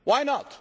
years,